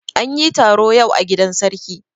An yi taro yau a gidan sarki.